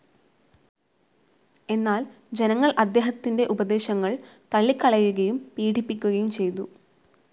എന്നാൽ ജനങ്ങൾ അദ്ദേഹത്തിൻ്റെ ഉപദേശങ്ങൾ തള്ളിക്കളയുകയും പീഡിപ്പിക്കുകയും ചെയ്തു..